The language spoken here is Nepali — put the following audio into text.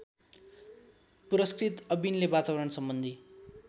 पुरस्कृत अविनले वातावरणसम्बन्धी